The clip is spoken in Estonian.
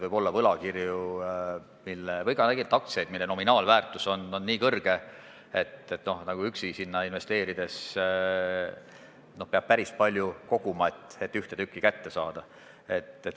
Võib-olla võlakirjadesse või tegelikult ka aktsiatesse, mille nominaalväärtus on väga suur, üksi ei investeeri – peab päris palju koguma, et ühte kätte saada.